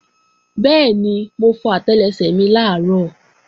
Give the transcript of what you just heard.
Bẹ́ẹ̀ni, mo fọ àtẹlẹsẹ̀ mi làárọ̀